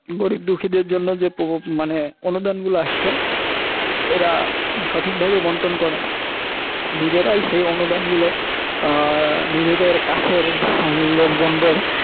গরীব দুখিদের জন্য যে অনুদানগুলি আসছে এঁরা সঠিক ভাবে বণ্টন করে না। নিজেরাই সেই অনুদানগুলো আহ নিজেদের কাছের লোকজনদের